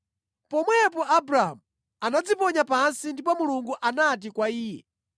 Pomwepo Abramu anadziponya pansi ndipo Mulungu anati kwa iye,